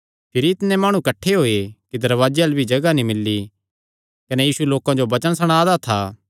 भिरी इतणे माणु किठ्ठे होये कि दरवाजे अल्ल भी जगाह नीं मिल्ली कने यीशु लोकां जो वचन सणा दा था